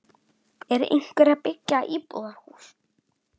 Er einhver að byggja íbúðarhús?